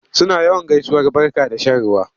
Suna yawan gaisuwar barka da shan ruwa.